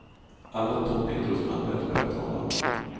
Alla toppidrottsmän vet vad jag talar om.